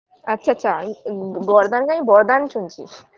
আচ্ছা আচ্ছা ম গর্দান কে আমি বরদান শুনছি